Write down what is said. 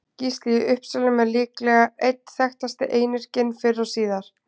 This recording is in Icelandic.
Gísli í Uppsölum er líklega einn þekktasti einyrkinn fyrr og síðar.